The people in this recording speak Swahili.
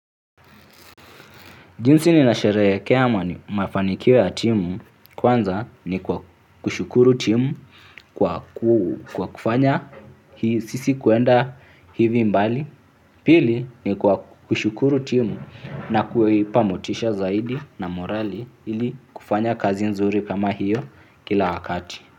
Jinsi ninasherehekea mafanikio ya timu kwanza ni kwa kushukuru timu kwa kufanya sisi kuenda hivi mbali. Pili ni kwa kushukuru timu na kuipa motisha zaidi na morali ili kufanya kazi nzuri kama hiyo kila wakati.